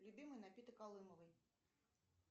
любимый напиток калымовой